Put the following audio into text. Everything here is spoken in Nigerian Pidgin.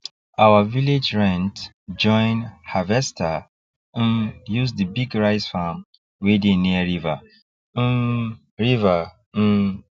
our village rent join harvester um use for the big rice farm wey dey near river um river um